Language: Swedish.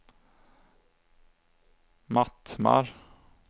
Mattmar